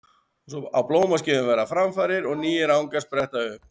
Á blómaskeiðum verða framfarir og nýir angar spretta upp.